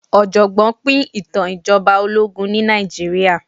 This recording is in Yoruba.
ọ̀jọ̀gbọ́n pín ìtàn ìjọba ológun ní Nàìjíríà.